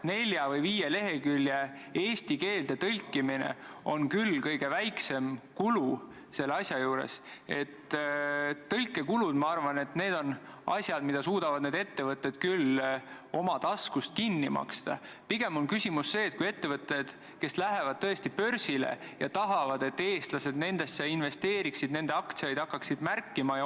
Ma ei saa nõustuda, kui siin saalis jääb kõlama arusaam, et kuivõrd Sotsiaalministeeriumi haldusalasse kuulub muu hulgas puudega inimeste heaolu eest seismine teatud eluvaldkondades, aga mitte kõigis eluvaldkondades, siis on täiesti piisav, kui Sotsiaalministeerium vaikimisi kooskõlastab eelnõu ja puudega inimeste organisatsioonidega suhtlema ei pea.